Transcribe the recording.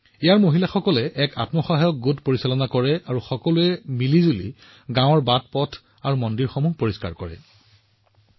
ইয়াত মহিলাসকলে এটা স্বসহায়ক গোট চলায় আৰু গাঁৱৰ চুবুৰী ৰাস্তা আৰু মন্দিৰ পৰিষ্কাৰ কৰিবলৈ একেলগে কাম কৰে